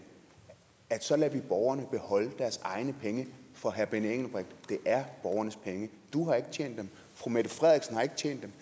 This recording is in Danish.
at så lader vi borgerne beholde deres egne penge for herre benny engelbrecht det er borgernes penge du har ikke tjent dem fru mette frederiksen har ikke tjent dem